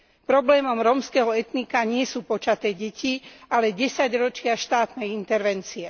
Problémom rómskeho etnika nie sú počaté deti, ale desaťročia štátnej intervencie.